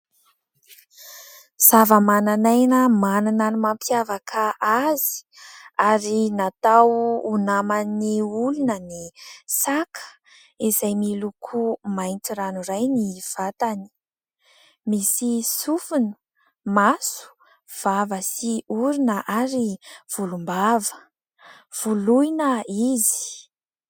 Zava-mananaina manana ny mampiavaka azy, ary natao ho naman'ny olona ny saka, izay miloko mainty ranoray ny vatany. Misy sofina, maso, vava sy orona ary volombava, voloina izy.